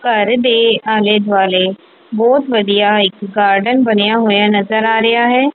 ਘਰ ਦੇ ਆਲੇ ਦੁਆਲੇ ਬਹੁਤ ਵਧੀਆ ਇੱਕ ਗਾਰਡਨ ਬਣਿਆ ਹੋਇਆ ਨਜ਼ਰ ਆ ਰਿਹਾ ਹੈ।